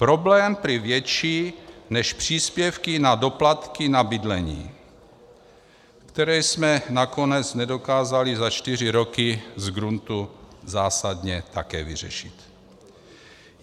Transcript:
Problém prý větší než příspěvky na doplatky na bydlení, které jsme nakonec nedokázali za čtyři roky z gruntu zásadně také vyřešit.